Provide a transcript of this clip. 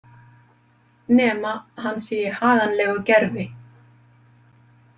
Nema hann sé í haganlegu gervi.